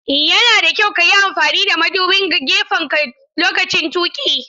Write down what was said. Yana da kyau ka yi amfani da madubin gefenka lokacin tuƙi.